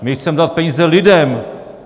My chceme dát peníze lidem.